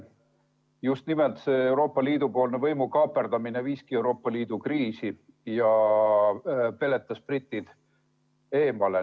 Just nimelt see Euroopa Liidu poolne võimu kaaperdamine viiski Euroopa Liidu kriisi ja peletas britid eemale.